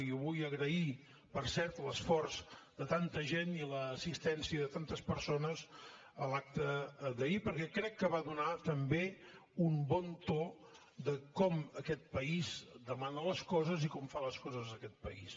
i jo vull agrair per cert l’esforç de tanta gent i l’assistència de tantes persones a l’acte d’ahir perquè crec que va donar també un bon to de com aquest país demana les coses i com fa les coses aquest país